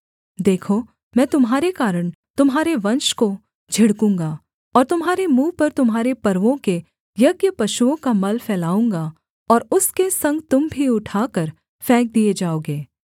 देखो मैं तुम्हारे कारण तुम्हारे वंश को झिड़कूंगा और तुम्हारे मुँह पर तुम्हारे पर्वों के यज्ञपशुओं का मल फैलाऊँगा और उसके संग तुम भी उठाकर फेंक दिए जाओगे